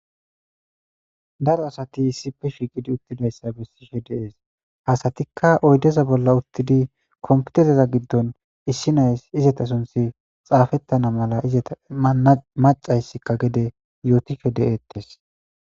Daro asati issipe shiiqidi uttidayssa bessishe deees hasatikka oydeza bolla uttidi kompitereza giddon issinays izata sunthi xaafettana mala izeta macayssikka gede yootishe dettes.